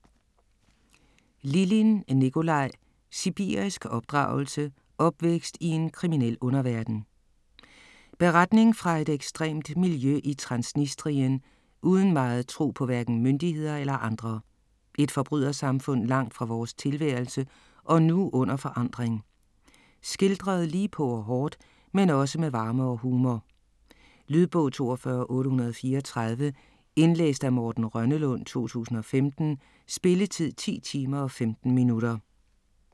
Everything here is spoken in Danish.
Lilin, Nicolai: Sibirisk opdragelse: opvækst i en kriminel underverden Beretning fra et ekstremt miljø i Transnistrien uden meget tro på hverken myndigheder eller andre. Et forbrydersamfund langt fra vores tilværelse og nu under forandring. Skildret lige på og hårdt, men også med varme og humor. Lydbog 42834 Indlæst af Morten Rønnelund, 2015. Spilletid: 10 timer, 15 minutter.